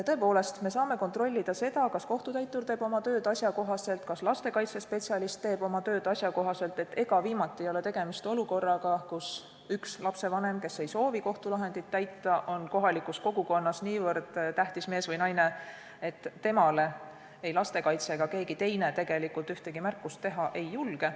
Tõepoolest, me saame kontrollida seda, kas kohtutäitur teeb oma tööd asjakohaselt, kas lastekaitsespetsialist teeb oma tööd asjakohaselt, et ega viimati ei ole tegemist olukorraga, kus üks lapsevanem, kes ei soovi kohtulahendeid täita, on kohalikus kogukonnas niivõrd tähtis mees või naine, et temale ei lastekaitse ega keegi teine tegelikult ühtegi märkust teha ei julge.